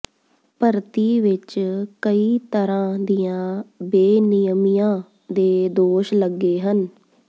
ਭਰਤੀ ਵਿੱਚ ਕਈ ਤਰ੍ਹਾਂ ਦੀਆਂ ਬੇਨਿਯਮੀਆਂ ਦੇ ਦੋਸ਼ ਲੱਗੇ ਹਨ